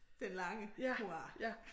Den lange hurra